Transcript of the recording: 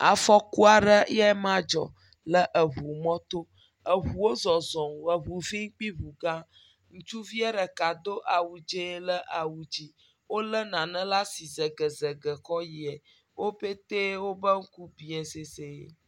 Afɔku aɖe yema dzɔ le eŋumɔto. Eŋuwo zɔzɔm, eŋu vi kpli eŋu gã, ŋutsuviɛ ɖeka do awudzee le awu dzi. Wolé nane le asi segesege kɔ yiɛ, wobetee woƒe ŋku biɛ sesẽe.